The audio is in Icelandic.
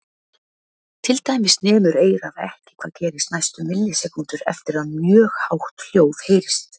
Til dæmis nemur eyrað ekki hvað gerist næstu millisekúndur eftir að mjög hátt hljóð heyrist.